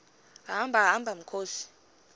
hamba hamba mkhozi